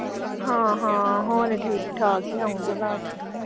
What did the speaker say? ਹਾਂ ਹਾਂ ਹੋਰ ਠੀਕ ਠਾਕ ਆਉਣ ਦੀ ਅਵਾਜ।